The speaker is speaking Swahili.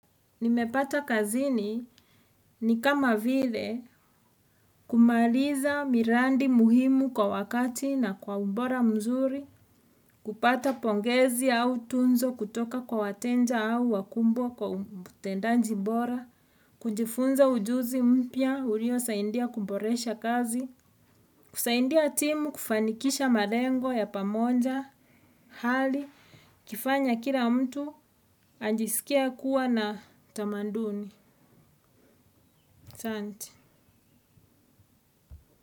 Nimepata kazini ni kama vile kumaliza miradi muhimu kwa wakati na kwa ubora mzuri, kupata pongezi au tuzo kutoka kwa wateja au wakumbwa kwa utendanji bora. Kujifunza ujuzi mpya uliosaidia kuboresha kazi, kusaidia timu kufanikisha malengo ya pamoja, hali, ukifanya kila mtu ajisikie kuwa na tamaduni, asanti.